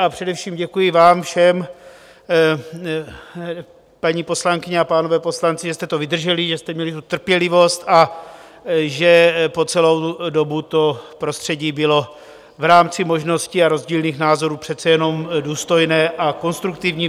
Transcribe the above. A především děkuji vám všem, paní poslankyně a páni poslanci, že jste to vydrželi, že jste měli tu trpělivost a že po celou dobu to prostředí bylo v rámci možností a rozdílných názorů přece jenom důstojné a konstruktivní.